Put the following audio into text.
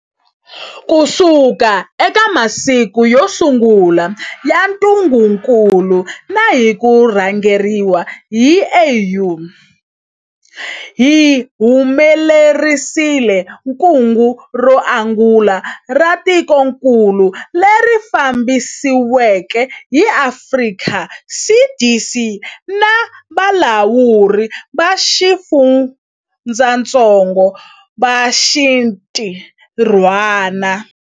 Kusuka eka masiku yo sungula ya ntungukulu na hi ku rhangeriwa hi AU, hi humelerisile kungu ro angula ra tikokulu, leri fambisiweke hi Afrika CDC na valawuri va xifundzatsongo va xinti rhwana.